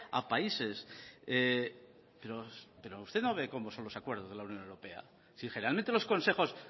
a países pero usted no ve cómo son los acuerdos de la unión europea si generalmente los consejos